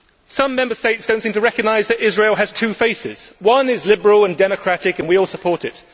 Some Member States do not seem to recognise that Israel has two faces. One is liberal and democratic, and we all support it.